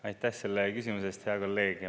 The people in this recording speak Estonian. Aitäh selle küsimuse eest, hea kolleeg!